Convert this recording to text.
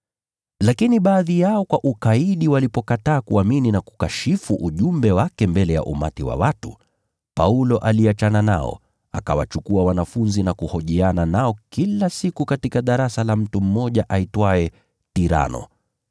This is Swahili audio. Lakini baadhi yao walikaidi. Walikataa kuamini, na wakakashifu ujumbe wake mbele ya umati wa watu. Basi Paulo aliachana nao. Akawachukua wanafunzi naye, akahojiana nao kila siku katika darasa la Tirano.